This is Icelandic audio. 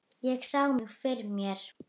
Ég sá mig fyrir mér.